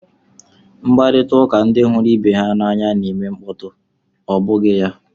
Mkparịta ụka ndị hụrụ ibe ha n'anya na-eme mkpọtụ, ọ bụghị ya?